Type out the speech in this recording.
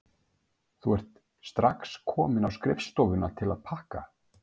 Þú ert strax komin á skrifstofuna til að pakka?